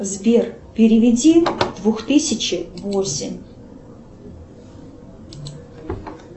сбер переведи двух тысячи восемь